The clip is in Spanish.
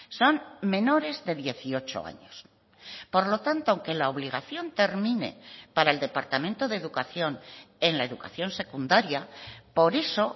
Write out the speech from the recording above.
son menores de dieciocho años por lo tanto aunque la obligación termine para el departamento de educación en la educación secundaria por eso